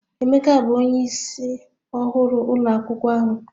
Emeka bụ onye ịsị ọhụrụ ụlọ akwụkwọ ahu